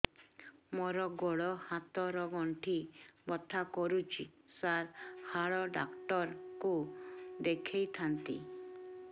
ମୋର ଗୋଡ ହାତ ର ଗଣ୍ଠି ବଥା କରୁଛି ସାର ହାଡ଼ ଡାକ୍ତର ଙ୍କୁ ଦେଖାଇ ଥାନ୍ତି